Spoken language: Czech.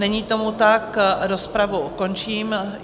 Není tomu tak, rozpravu končím.